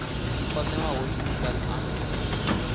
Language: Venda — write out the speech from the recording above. o newaho shumisani anu ni